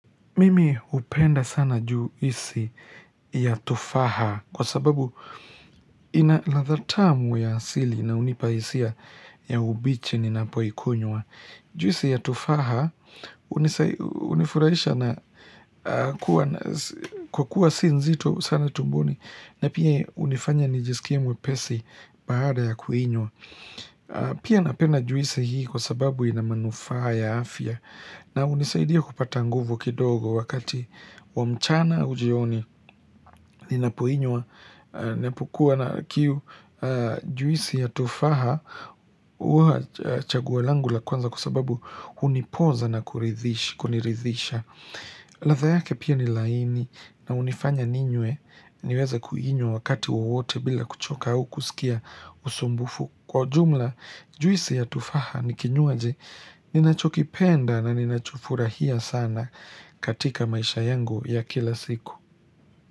Mimi hupenda sana juisi ya tufaha kwa sababu ina ladha tamu ya asili na unipa hisia ya ubiche ninapoikunywa. Juisi ya tufaha unifurahisha na kwa kuwa si nzito sana tumboni na pia unifanya nijisikie mwepesi baada ya kuiinywa. Pia napenda juisi hii kwa sababu ina manufaa ya afya na unisaidia kupata nguvu kidogo wakati wa mchana au jioni Ninapoinywa Ninapokuwa na kiu juisi ya tufaha Uwa chaguo langu la kwanza kwa sababu hunipoza na kuridhisha kuniridhisha ladha yake pia ni laini na unifanya ninywe niweze kuinywa wakati wowote bila kuchoka au kusikia usumbufu Kwa jumla, juisi ya tufaha ni kinywaji ninachokipenda na ninachofurahia sana katika maisha yangu ya kila siku.